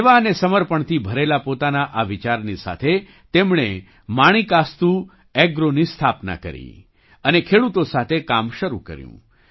સેવા અને સમર્પણથી ભરેલા પોતાના આ વિચારની સાથે તેમણે માણિકાસ્તુ એગ્રોની સ્થાપના કરી અને ખેડૂતો સાથે કામ શરૂ કર્યું